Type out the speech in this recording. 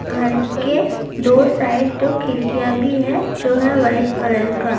گھر ک دو سائیڈ کھڑکیاں بھی ہے جو ہے وہاٹھے کلر